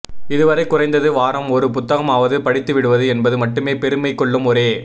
இதுவரை குறைந்தது வாரம் ஒரு புத்தகமாவது படித்துவிடுவது என்பது மட்டுமே பெருமை கொள்ளும் ஒரே